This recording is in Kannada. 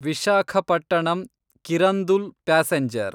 ವಿಶಾಖಪಟ್ಟಣಂ ಕಿರಂದುಲ್ ಪ್ಯಾಸೆಂಜರ್